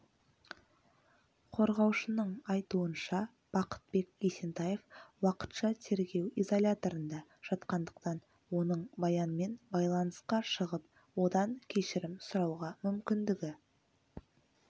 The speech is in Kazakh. қорғаушының айтуынша бақытбек есентаев уақытша тергеу изоляторында жатқандықтан оның баянмен байланысқа шығып одан кешірім сұрауға мүмкіндігі